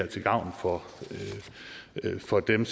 til gavn for for dem